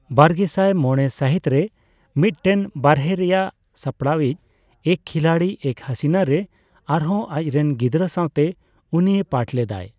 ᱵᱟᱨᱜᱮᱥᱟᱭ ᱢᱚᱲᱮ ᱥᱟᱹᱦᱤᱛ ᱨᱮ ᱢᱤᱫᱴᱮᱱ ᱵᱟᱨᱦᱮ ᱨᱮᱭᱟᱜ ᱥᱟᱯᱲᱟᱣᱤᱪ ᱮᱠ ᱠᱷᱤᱞᱟᱲᱤ ᱮᱠ ᱦᱟᱥᱤᱱᱟ ᱨᱮ ᱟᱨᱦᱚᱸ ᱟᱡᱨᱮᱱ ᱜᱤᱫᱽᱨᱟᱹ ᱥᱟᱣᱛᱮ ᱩᱱᱤᱭ ᱯᱟᱴᱷ ᱞᱮᱫᱟᱭ ᱾